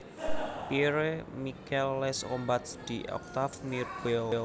Pierre Michel Les Combats d Octave Mirbeau